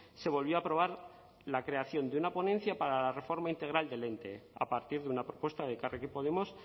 se volvió a aprobar la creación de una ponencia para la reforma integral del ente a partir de una propuesta de elkarrekin podemos